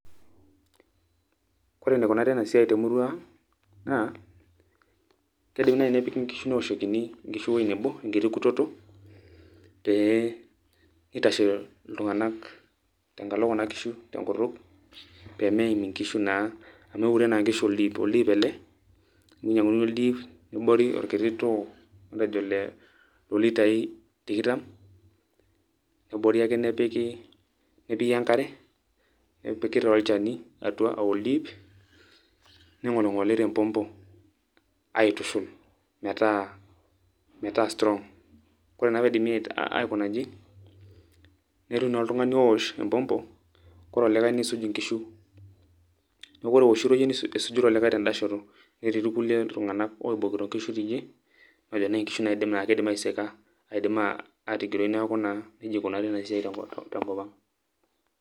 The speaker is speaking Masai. Ore enikunari enasiai temurua ang',naa, kidimi nai nepiki nkishu neoshokini nkishu ewoi nebo, enkiti kutoto, pee itashe iltung'anak tenkalo kuna kishu tenkutuk, pemeim kuna kishu naa, amu eure naa nkishu oldiip, oldiip ele, ninyang'uni oldiip, nebori orkiti too matejo olo litai tikitam, nebori ake nepiki, nepiki enkare, nepiki taa olchani atua ah oldiip, ning'oling'oli tempompo, aitushu metaa strong. Kore naa pidipi aikuna iji, netii naa oltung'ani owosh empompo, kore olikae niisuj inkishu. Neeku ore iwoshito yie, nisuj olikae tedashoto. Netii irkulie tung'anak oibokito nkishu tidie, matejo tenaa nkishu na keidim aisika, aidim atigiroi neeku naa, nejia eikunari enasiai tenkop ang'.